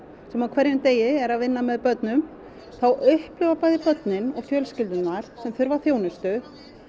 sem á hverjum degi er að vinna með börnum þá upplifa bæði börnin og fjölskyldurnar sem þurfa þjónustu